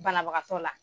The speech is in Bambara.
Banabagatɔ la